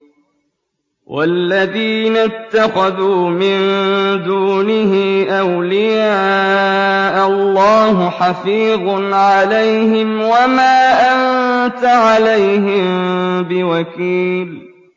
وَالَّذِينَ اتَّخَذُوا مِن دُونِهِ أَوْلِيَاءَ اللَّهُ حَفِيظٌ عَلَيْهِمْ وَمَا أَنتَ عَلَيْهِم بِوَكِيلٍ